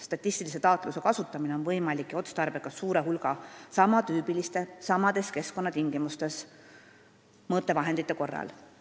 Statistilise taatluse kasutamine on võimalik ja otstarbekas suure hulga sama tüüpi ja samades keskkonnatingimustes kasutatavate mõõtevahendite korral.